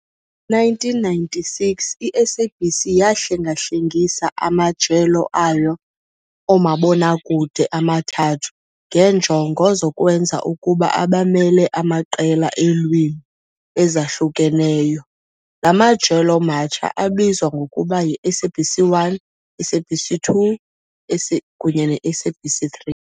1996, i-SABC yahlengahlengisa amajelo ayo omabonakude amathathu ngeenjongo zokwenza ukuba abamele amaqela eelwimi ezahlukeneyo. La majelo matsha abizwa ngokuba yi-SABC 1, SABC 2 kunye ne-SABC 3.